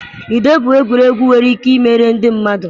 Ludo bụ egwuregwu nwere ike ịmere ndị mmadụ.